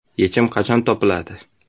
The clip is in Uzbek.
Yechim qachon topiladi?